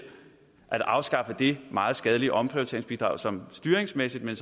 at afskaffe det meget skadelige omprioriteringsbidrag som styringsmæssigt men